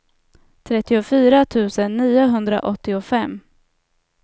trettiofyra tusen niohundraåttiofem